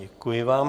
Děkuji vám.